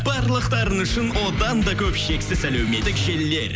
барлықтарыңыз үшін одан да көп шексіз әлеуметтік желілер